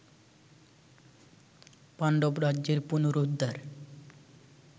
পাণ্ডব-রাজ্যের পুনরুদ্ধার